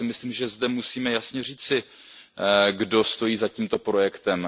Já si myslím, že zde musíme jasně říci, kdo stojí za tímto projektem.